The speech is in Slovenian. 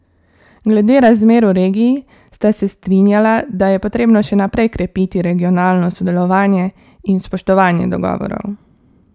Glede razmer v regiji sta se strinjala, da je potrebno še naprej krepiti regionalno sodelovanje in spoštovanje dogovorov.